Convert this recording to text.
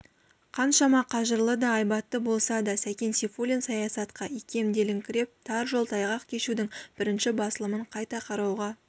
қаншама қажырлы да айбатты болса да сәкен сейфуллин саясатқа икемделіңкіреп тар жол тайғақ кешудің бірінші басылымын қайта қарауға